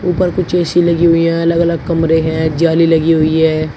ऊपर कुछ ए_सी लगी हुई हैं अलग अलग कमरे हैं जाली लगी हुई है।